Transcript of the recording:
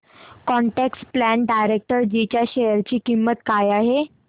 quant tax plan direct G share शेअर ची किंमत काय आहे